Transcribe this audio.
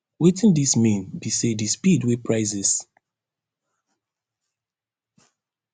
wetin dis mean be say di speed wey prices